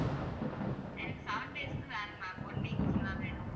எனக்கு seven days க்கு வேணும் ma'am one week full ஆ வேணும்